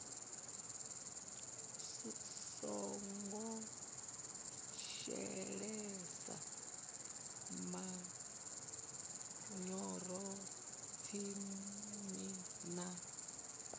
songo shelesa manyoro tsini na